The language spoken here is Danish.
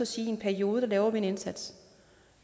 sige i en periode laver vi en indsats